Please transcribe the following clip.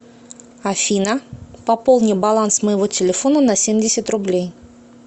афина пополни баланс моего телефона на семьдесят рублей